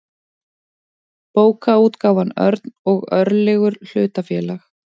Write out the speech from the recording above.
bókaútgáfan örn og örlygur hlutafélag